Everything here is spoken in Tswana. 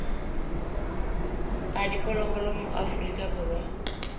a diphologolo mo aforika borwa